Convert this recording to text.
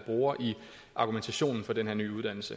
bruger i argumentationen for den her nye uddannelse